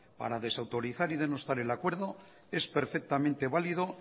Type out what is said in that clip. para desautorizar y denostar el acuerdo es perfectamente válido